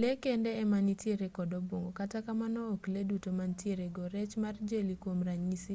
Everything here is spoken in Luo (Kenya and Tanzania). lee kende ema nitiere kod obuongo kata kamano ok lee duto ma nitiere go; rech mar jeli kwom ranyisi